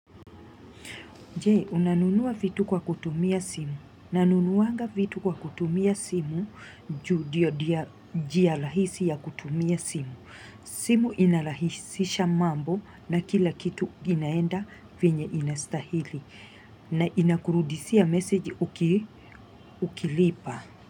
Je, unanunua vitu kwa kutumia simu. Nanunuaga vitu kwa kutumia simu, juu ndiyo njia rahisi ya kutumia simu. Simu inarahisisha mambo na kila kitu inaenda vyenye inastahili. Na inakurudishia meseji ukilipa.